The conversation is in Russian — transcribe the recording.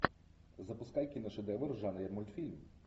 запускай киношедевр в жанре мультфильм